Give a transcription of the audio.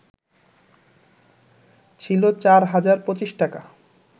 ছিল ৪ হাজার ২৫ টাকা